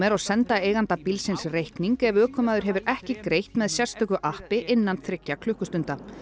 og senda eiganda bílsins reikning ef ökumaður hefur ekki greitt með sérstöku appi innan þriggja klukkustunda